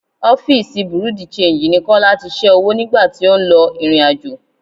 Ọ́fíìsì bùréú di-ṣenji ni Kọ́lá tí ṣẹ́ owó nìgbà tí ó ń lọ ìrìnàjò.